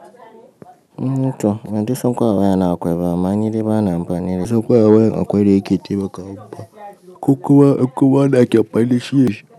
Eh tom bandai san ko a waya na akwai ba amma ni dai bana amfani dashi bansan ko a wayar akwai ne yake taimaka min ba ku kuma, ku kuma wanda ake amfani dashi.